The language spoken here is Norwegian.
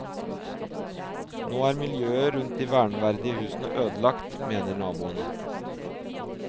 Nå er miljøet rundt de verneverdige husene ødelagt, mener naboene.